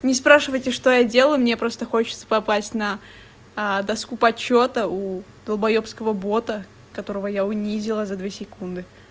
не спрашивайте что я делаю мне просто хочется попасть на доску почёта у долбоёбского бота которого я унизила за две секунды